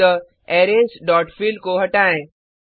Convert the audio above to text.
अतः arrays dot fill को हटाएँ